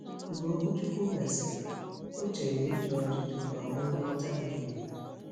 Mgbe okwuchukwu gasịrị, ọ cheere ị jụ ajụjụ ma nwe nghọta miri emi.